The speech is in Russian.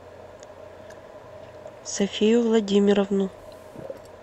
софию владимировну